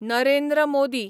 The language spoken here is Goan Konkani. नरेंद्र मोदी